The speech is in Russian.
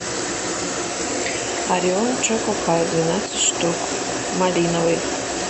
ореон чоко пай двенадцать штук малиновый